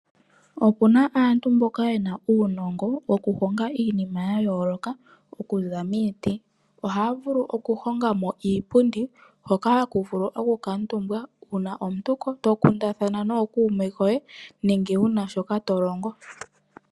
Opuna aantu mboka ye na uunongo oku honga iinima ya yooloka okuza momiti. Ohaya vulu oku honga mo iipundi hoka ha ku vulu oku kuutumbwa uuna to kundathana nookuume koye nenge wu na shoka to longo.